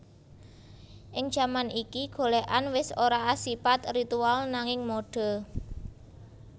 Ing jaman iki golèkan wis ora asipat ritual nanging mode